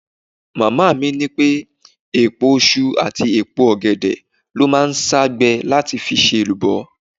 Màmá mi ní èpo iṣu àti èpo ọ̀gẹ̀dẹ̀ ló máa ń sá gbẹ láti fi ṣe èlùbọ́.